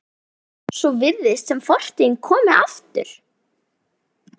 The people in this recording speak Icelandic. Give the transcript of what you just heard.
Svo virðist sem fortíðin komi aftur.